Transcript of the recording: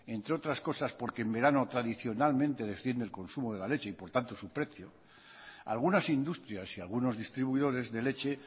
entre otras cosas porque en verano tradicionalmente desciende el consumo de la leche y por tanto su precio algunas industrias y algunos distribuidores de leche